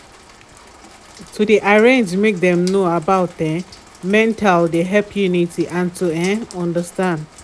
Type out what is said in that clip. to de make for school about mental health de make plenty knowlege.